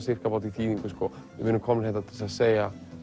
við erum komnir hingað til að segja